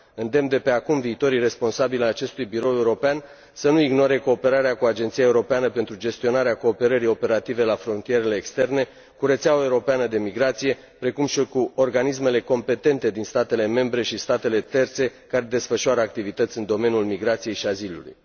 Îndemn de pe acum viitorii responsabili ai acestui birou european să nu ignore cooperarea cu Agenția Europeană pentru Gestionarea Cooperării Operative la Frontierele Externe, cu rețeaua europeană de migrație, precum și cu organismele competente din statele membre și statele terțe care desfășoară activități în domeniul migrației și azilului.